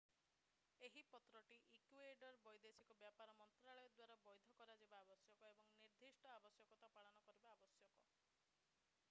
ଏହି ପତ୍ରଟି ଇକ୍ୟୁଏଡର ବୈଦେଶିକ ବ୍ୟାପାର ମନ୍ତ୍ରଣାଳୟ ଦ୍ୱାରା ବୈଧ କରାଯିବା ଆବଶ୍ୟକ ଏବଂ ନିର୍ଦ୍ଧିଷ୍ଟ ଆବଶ୍ୟକତା ପାଳନ କରିବା ଆବଶ୍ୟକ